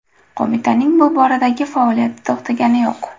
Qo‘mitaning bu boradagi faoliyati to‘xtagani yo‘q.